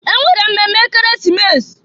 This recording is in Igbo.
E nwere mmemme Ekeresimesi.